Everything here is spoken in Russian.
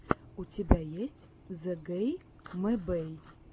у тебя есть зэгэймэбэй